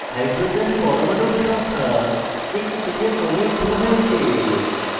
hydrogen পরমাণুর সংখ্যা 6 থেকে কমে 2 হয়েছে